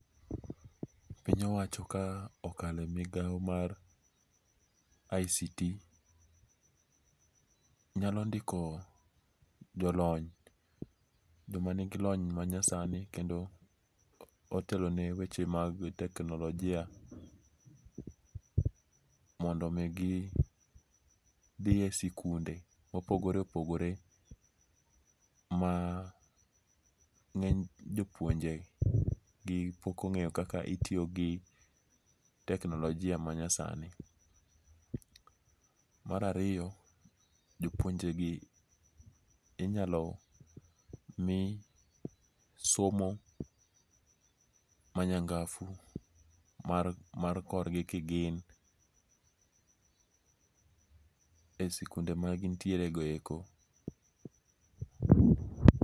Piny owacho ka okale migao mar ICT, nyalo ndiko jolony jomanigi lony manyasani kendo otelone weche mag teknolojia, mondo mi githie sikunde mopogore opogore ma nge'ny jopuonjegi pok onge' yo kaka itiyogi teknolojia manyasani. Marariyo jopuonjegi inyalo mi somo manyanga'fu mar korgi kigin e sikunde ma gintieregoeko.